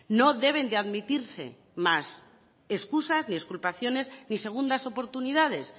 no deben de admitirse más excusas ni exculpaciones ni segundas oportunidades